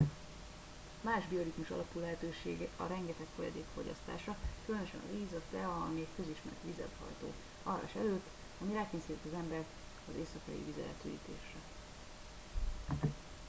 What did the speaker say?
más bioritmus alapú lehetőség a rengeteg folyadék fogyasztása különösen a víz a tea ami egy közismert vizelethajtó alvás előtt ami rákényszeríti az embert az éjszakai vizeletürítésre